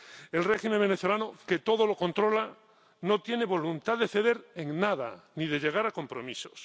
El régimen venezolano, que todo lo controla, no tiene voluntad de ceder en nada, ni de llegar a compromisos.